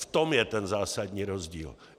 V tom je ten zásadní rozdíl.